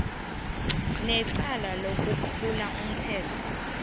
necala lokwephula umthetho